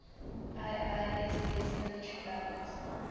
iiss military balance